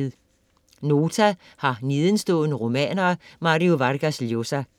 Nota har nedenstående romaner af Mario Vargas Llosa.